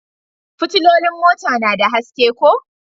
Fitilolin mota na da haske ko?